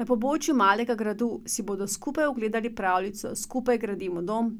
Na pobočju Malega Gradu si bodo skupaj ogledali pravljico Skupaj gradimo dom,